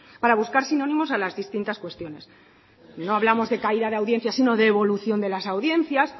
para buscar sinónimos a las distintas cuestiones no hablamos de caída de audiencia sino de evolución de las audiencias